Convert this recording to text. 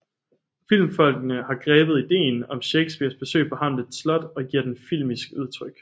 Filmfolkene har grebet ideen om Shakespeares besøg på Hamlets slot og givet den filmisk udtryk